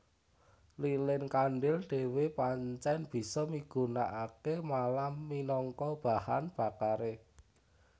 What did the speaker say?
Lilin kandhil dhéwé pancèn bisa migunakaké malam minangka bahan bakaré